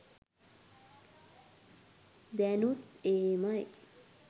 දෑනුත් එහෙමයි